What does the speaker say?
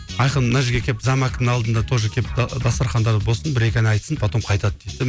айқын мына жерге келіп зам әкімнің алдына тоже келіп дастарханда болсын бір екі ән айтсын потом қайтады дейді де